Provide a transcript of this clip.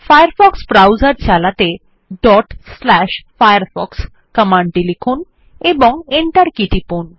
Firefox browser চালাতে firefox কমান্ডটি লিখুন এবং এন্টার কী টিপুন